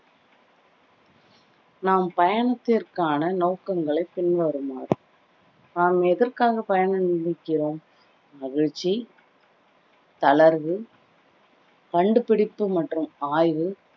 நம் பயணத்திற்கான நோக்கங்களை பின்வருமாறு நாம் எதற்காக பயண நினைக்கிறோம் மகிழ்ச்சி தளர்வு கண்டுபிடிப்பு மற்றும் ஆய்வு